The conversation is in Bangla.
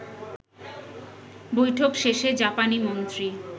বৈঠক শেষে জাপানি মন্ত্রী